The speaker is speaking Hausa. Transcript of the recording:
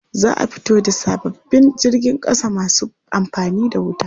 Za a fito da sababbin jirgin ƙasa masu amfani da wuta.